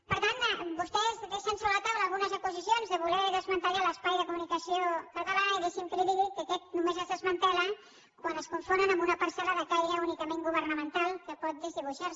per tant vostès deixen sobre la taula unes acusacions de voler desmantellar l’espai de comunicació català i deixi’m que li digui que aquest només es desmantella quan es confonen amb una parcel·la de caire únicament governamental que pot desdibuixar se